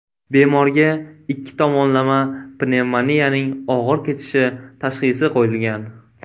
Bemorga ikki tomonlama pnevmoniyaning og‘ir kechishi tashxisi qo‘yilgan.